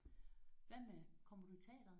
Hvad med kommer du i teatret?